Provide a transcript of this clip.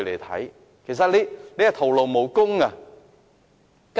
他們只會徒勞無功。